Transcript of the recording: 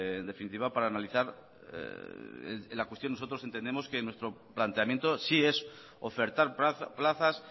en definitiva para analizar la cuestión nosotros entendemos que nuestro planteamiento si es ofertar plazas